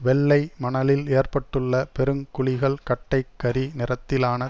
வெள்ளை மணலில் ஏற்பட்டுள்ள பெரு குழிகள் கட்டைக் கரி நிறத்திலான